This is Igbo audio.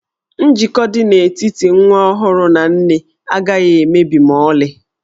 Njikọ dị n'etiti nwa ọhụrụ na nne agaghị emebi ma ọlị.